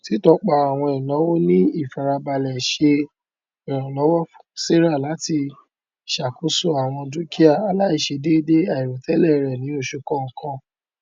títọpa àwọn ináwó ní ìfarabalẹ ṣe ìrànlọwọ fún sarah láti ṣàkóso àwọn dúkìà aláìṣèdẹédé àìròtẹlẹ rẹ ní oṣù kọọkan